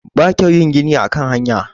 ba kyau yin gini a hanya